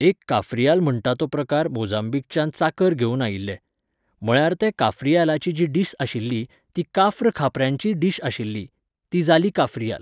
एक काफ्रिायल म्हणटा तो प्रकार मोजांबीकच्यान चाकर घेवन आयिल्ले. म्हळ्यार ते काफ्रियालाची जी डीश आशिल्ली ती काफ्र खापऱ्यांची डीश आशिल्ली. ती जाली काफ्रियाल